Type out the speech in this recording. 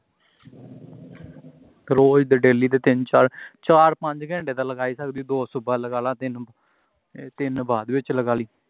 ਰੋਜ਼ ਦਾ daily ਦਾ ਤਿੰਨ ਚਾਰ ਚਾਰ ਪੰਜ ਘੰਟੇ ਤਾਂ ਲਾ ਹੀ ਸਕਦੇ ਹਾਂ ਦੋ ਸੂਬਾ ਲਗਾ ਲਾ ਤਿੰਨ ਬਾਅਦ ਵਿਚ ਲਗਾ ਲਵੀ